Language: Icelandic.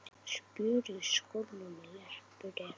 Spjör í skónum leppur er.